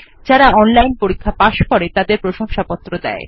যারা অনলাইন পরীক্ষা পাস করে তাদের প্রশংসাপত্র দেয়